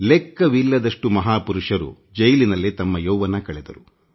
ಲೆಕ್ಕವಿಲ್ಲದಷ್ಟು ಮಹಾಪುರುಷರು ತಮ್ಮ ಯೌವನವನ್ನು ಜೈಲಿನಲ್ಲೇ ಕಳೆದರು